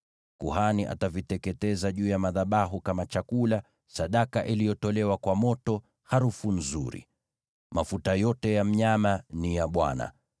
Kuhani ataviteketeza juu ya madhabahu kama chakula, sadaka iliyotolewa kwa moto, harufu nzuri. Mafuta yote ya mnyama ni ya Bwana .